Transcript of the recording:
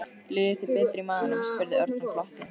Líður þér betur í maganum? spurði Örn og glotti.